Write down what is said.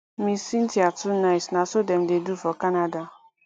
ms cynthia too nice na so dem dey do for canada